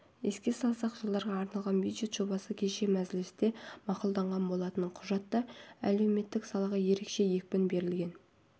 еске салсақ жылдарға арналған бюджет жобасы кеше мәжілісте мақұлданған болатын құжатта әлеуметтік салаға ерекше екпін берілген